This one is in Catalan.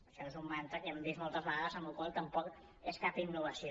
això és un mantra que hem vist moltes vegades amb la qual cosa tampoc és cap innovació